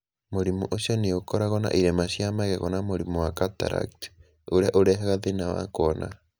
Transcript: Mũrimũ ũcio nĩ ũkoragwo na irema cia magego na mũrimũ wa cataract, ũrĩa ũrehaga thĩna wa kuona.